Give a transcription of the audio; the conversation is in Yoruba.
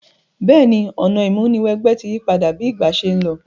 Béèni, ọ̀nà ìmúniwẹgbẹ́ ti yípadà bi ìgbà se n lo